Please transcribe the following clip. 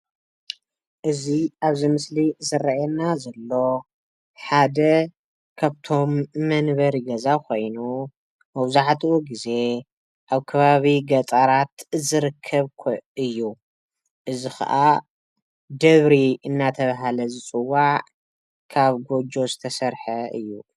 እዚ አብዚ ምስሊ ዝረእየና ዘሎ ሓደ ካብቶም መንበሪ ገዛ ኮይኑ መብዛሕትኡ ግዜ አብ ከባቢ ገጠራት ዝርከብ እዩ እዚ ከዓ ደብሪ እናተባህለ ዝፅዋዕ ካብ ጎጆ ዝተሰርሐ እዩ፡፡